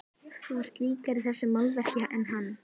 Þú ert líkari þessu málverki en hann.